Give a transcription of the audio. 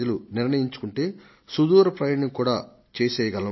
నిర్ణయించుకుంటే సుదూర ప్రయాణం కూడా చేసేయ్యగలం